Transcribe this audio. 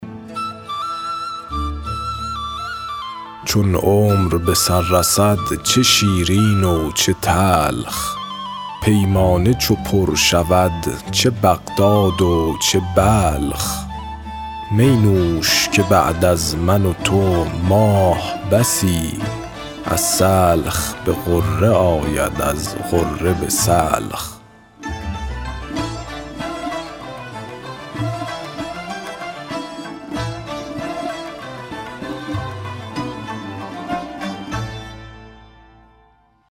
چون عمر به سر رسد چه شیرین و چه تلخ پیمانه چو پر شود چه بغداد و چه بلخ می نوش که بعد از من و تو ماه بسی از سلخ به غره آید از غره به سلخ